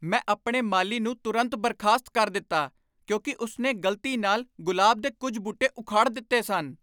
ਮੈਂ ਆਪਣੇ ਮਾਲੀ ਨੂੰ ਤੁਰੰਤ ਬਰਖਾਸਤ ਕਰ ਦਿੱਤਾ ਕਿਉਂਕਿ ਉਸ ਨੇ ਗ਼ਲਤੀ ਨਾਲ ਗੁਲਾਬ ਦੇ ਕੁੱਝ ਬੂਟੇ ਉਖਾੜ ਦਿੱਤੇ ਸਨ।